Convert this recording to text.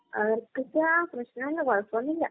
അവർക്കിപ്പൊ പ്രശ്നമില്ല. കുഴപ്പമൊന്നുമില്ല.